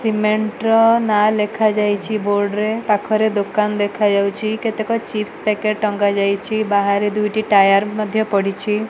Cement ନାଆଁ ଲେଖା ଯାଇଛି ବୋର୍ଡ ରେ ପାଖରେ ଦୋକାନ ଦେଖା ଯାଉଛି କେତେକ ଚିପ୍ସ ପ୍ୟାକେଟ ଟଙ୍ଗା ଯାଇଛି ବାହାରେ ଦୁଇଟି ଟାୟାର ପଡ଼ିଛି।